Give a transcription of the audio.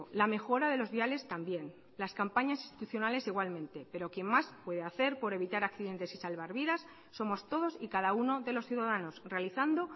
la mejora de los viales también las campañas institucionales igualmente pero quien más puede hacer por evitar accidentes y salvar vidas somos todos y cada uno de los ciudadanos realizando